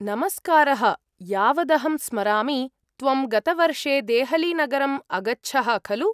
नमस्कारः, यावदहं स्मरामि, त्वं गतवर्षे देहलीनगरम् अगच्छः, खलु?